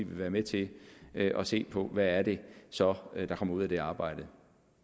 være med til at se på hvad det så er der kommer ud af det arbejde